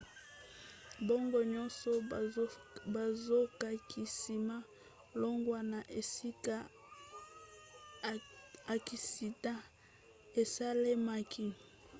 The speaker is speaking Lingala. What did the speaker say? bango nyonso bazokaki nsima longwa na esika aksida esalemaki